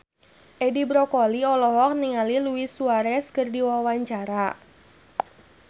Edi Brokoli olohok ningali Luis Suarez keur diwawancara